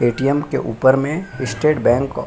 ATM. के ऊपर मे स्टेट बैंक --